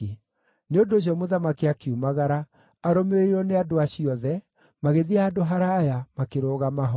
Nĩ ũndũ ũcio mũthamaki akiumagara, arũmĩrĩirwo nĩ andũ acio othe, magĩthiĩ handũ haraaya, makĩrũgama ho.